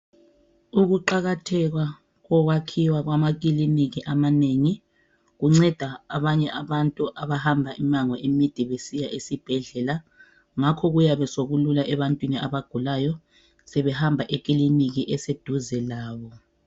Ukuqakatheka kokwakhiwa kwamakilinika amanengi kunceda abanye abantu abahamba imango emide besiya esibhedlela ngakho kuyabe sokulula ebantwini abagulayo sebehamba ekilinika eseduze labo.